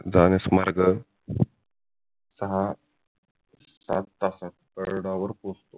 जाण्यास मार्ग सहा सात तासात गडावर पोहोचतो